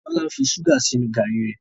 Tola ń ṣuga sínú garri re.